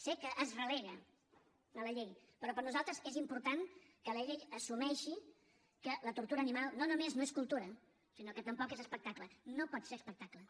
sé que es relega a la llei però per nosaltres és important que la llei assumeixi que la tortura animal no només no és cultura sinó que tampoc és espectacle no pot ser espectacle